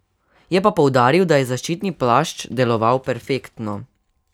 Je pa poudaril, da je zaščitni plašč deloval perfektno.